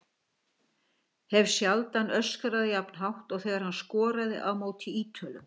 Hef sjaldan öskrað jafn hátt og þegar hann skoraði á móti Ítölum.